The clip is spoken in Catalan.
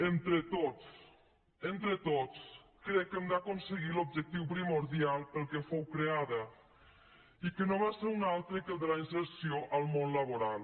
entre tots entre tots crec que hem d’aconseguir l’objectiu primordial per al qual fou creada i que no va ser sinó el de la inserció al món laboral